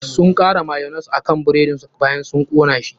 Sun kara mayonnaise akan buredin su bayan sun kona shi.